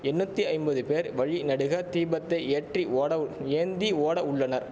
எண்ணூத்திஐம்பது பேர் வழிநெடுக தீபத்தை ஏற்றி ஓடவ் ஏந்தி ஓட உள்ளனர்